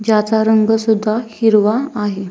ज्याचा रंग सुद्धा हिरवा आहे.